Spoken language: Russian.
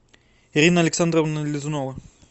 ирина александровна лизунова